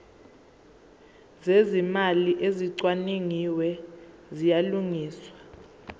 zezimali ezicwaningiwe ziyalungiswa